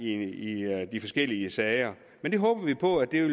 i de forskellige sager men det håber vi på at vi